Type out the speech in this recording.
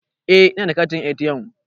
Eh ina da katin ATM.